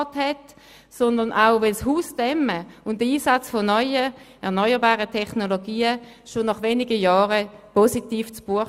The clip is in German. Zudem schlagen die Dämmung eines Hauses und der Einsatz von erneuerbaren Technologien schon nach wenigen Jahren positiv zu Buche.